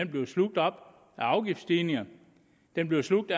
bliver slugt op af afgiftsstigninger den bliver slugt